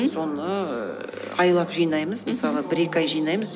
соны ііі айлап жинаймыз мысалы бір екі ай жинаймыз